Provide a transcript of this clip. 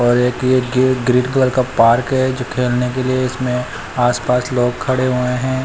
और एक ये ‌ग्रीन कलर का पार्क है जो खेलने के लिए इसमें आस पास लोग खड़े हुए हैं।